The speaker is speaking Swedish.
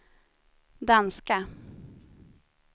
danska